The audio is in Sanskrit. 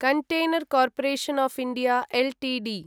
container corporation of India Ltd